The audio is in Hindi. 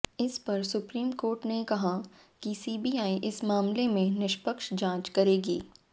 इस पर सुप्रीम कोर्ट ने कहा कि सीबीआई इस मामले की निष्पक्ष जांच करेगी